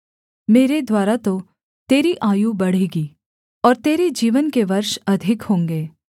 मेरे द्वारा तो तेरी आयु बढ़ेगी और तेरे जीवन के वर्ष अधिक होंगे